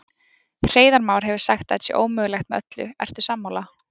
Hreiðar Már hefur sagt að þetta sé ómögulegt með öllu, ertu sammála?